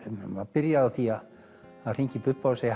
byrja á því að hringja í Bubba og segja